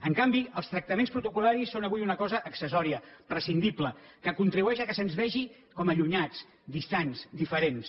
en canvi els tractaments protocol·laris són avui una cosa accessòria prescindible que contribueix al fet que se’ns vegi com a allunyats distants diferents